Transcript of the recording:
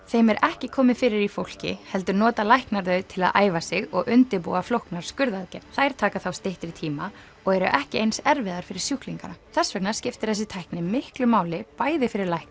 þeim er ekki komið fyrir í fólki heldur nota læknar þau til að æfa sig og undirbúa flóknar skurðaðgerðir þær taka þá styttri tíma og eru ekki eins erfiðar fyrir sjúklingana þess vegna skiptir þessi tækni miklu máli bæði fyrir lækna